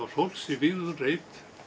fólks í vígðum reit